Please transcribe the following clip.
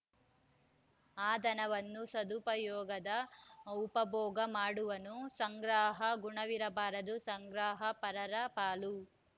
ಆ ಧನವನ್ನು ಸದುಪಯೋಗದ ಉಪಭೋಗ ಮಾಡುವನು ಸಂಗ್ರಹ ಗುಣವಿರಬಾರದು ಸಂಗ್ರಹ ಪರರ ಪಾಲು